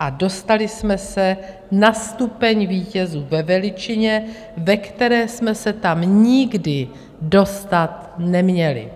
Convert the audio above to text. a dostali jsme se na stupeň vítězů ve veličině, ve které jsme se tam nikdy dostat neměli.